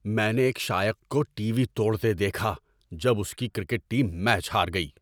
میں نے ایک شائق کو ٹی وی توڑتے دیکھا جب اس کی کرکٹ ٹیم میچ ہار گئی۔